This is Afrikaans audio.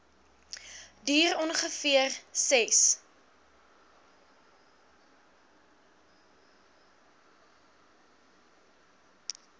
duur ongeveer ses